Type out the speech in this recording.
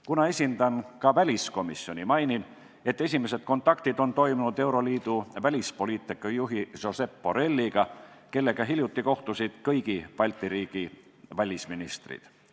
Kuna esindan ka väliskomisjoni, mainin, et on toimunud esimesed kontaktid euroliidu välispoliitikajuhi Josep Borrelliga, kellega hiljuti kohtusid kõigi Balti riikide välisministrid.